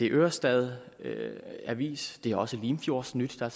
ørestad avis det er også limfjordsnyt og